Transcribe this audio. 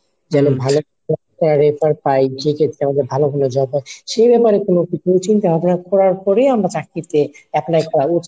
যেন ভালো একটা refer পাই যেক্ষেত্রে আমাদের ভালো ভালো job হয় সে ব্যাপারে কোনো কিছু চিন্তা ভাবনা করার পরেই আমরা চাকরিতে apply করা উচিত।